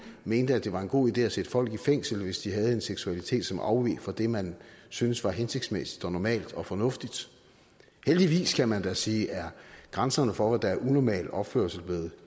mente at det var en god idé at sætte folk i fængsel hvis de havde en seksualitet som afveg fra det man syntes var hensigtsmæssigt og normalt og fornuftigt heldigvis kan man da sige er grænserne for hvad der er normal opførsel blevet